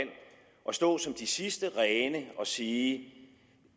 stå som de sidste rene og sige